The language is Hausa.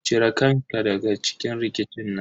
Ci re kan ka daga cikin rikicin nan.